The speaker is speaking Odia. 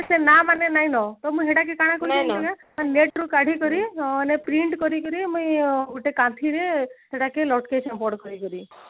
ନା ମାନେ ନାଇଁ ନ ତ ମୁଁ ହେଟାକି କାଣ କରିଛୁ ଜାଣିଛୁ ନା net ରୁ କାଢି କରି ମାନେ print କରି କରି ମୁଁଇ ଗୋଟେ କାଠିରେ ସେଟାକେ